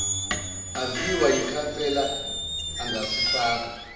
aziwa yikhansela angasifaka